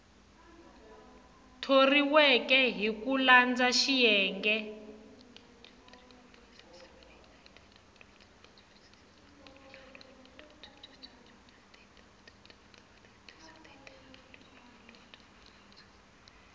thoriweke hi ku landza xiyenge